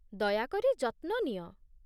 ଦୟାକରି ଯତ୍ନ ନିଅ।